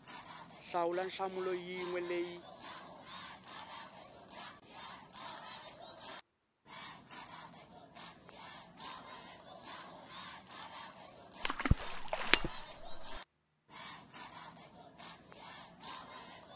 hlawula nhlamulo yin we leyi